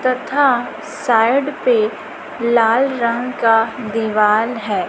तथा साइड पे लाल रंग का दीवाल है।